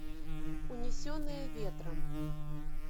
унесенные ветром